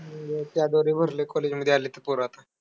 त्याद्वारे भरलेत college मध्ये आलेत पोरं आता.